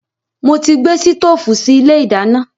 Mo ti gbé sítoòfù sì ilé ìdáná.